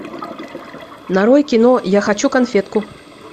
нарой кино я хочу конфетку